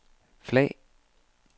flag